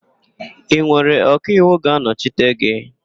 Ị nwere ọkaiwu ga-anọchite gị?